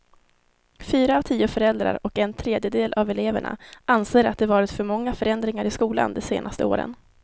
Fyra av tio föräldrar och en tredjedel av eleverna anser att det varit för många förändringar i skolan de senaste åren.